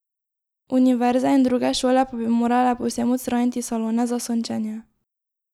Univerze in druge šole pa bi morale povsem odstraniti salone za sončenje.